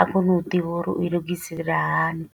a kone u ḓivha uri u i lugisela hani.